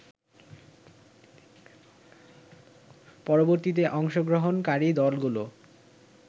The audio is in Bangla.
পরবর্তীতে অংশগ্রহণকারী দলগুলো